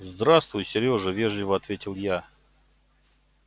здравствуй серёжа вежливо ответила я